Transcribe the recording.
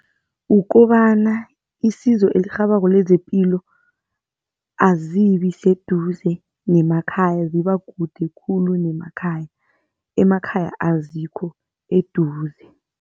Kukobana isizo elirhabako lezepilo azibi seduze nemakhaya zibakude khulu nemakhaya, emakhaya azikho eduze.